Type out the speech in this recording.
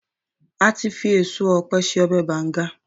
ati fi eso òpe se ọbè bangan